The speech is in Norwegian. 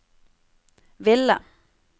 ville